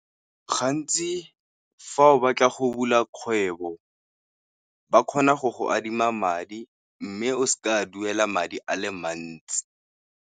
Gantsi fa o batla go bula kgwebo, ba kgona go go adima madi, mme o seke wa duela madi a le mantsi.